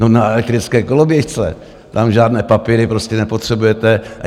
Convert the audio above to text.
No, na elektrické koloběžce, tam žádné papíry prostě nepotřebujete.